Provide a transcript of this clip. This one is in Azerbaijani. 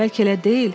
Bəlkə elə deyil?